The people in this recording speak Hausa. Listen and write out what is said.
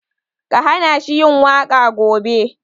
Ka hana shi yin waƙa gobe!